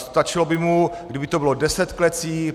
Stačilo by mu, kdyby to bylo 10 klecí?